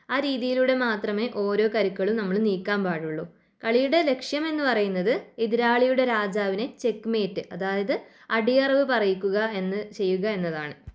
ആ രീതിയിലൂടെ മാത്രമേ ഓരോ കരുക്കളും നമ്മള് നീക്കാൻ പാടുള്ളു. കളിയുടെ ലക്ഷ്യമെന്ന് പറയുന്നത് എതിരാളിയുടെ രാജാവിനെ ചെക്ക് മേറ്റ് അതായത് അടിയറവ് പറയിക്കുക എന്ന് ചെയ്യുക എന്നതാണ്.